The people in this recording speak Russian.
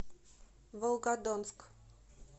волгодонск